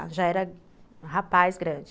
Já, já era um rapaz grande.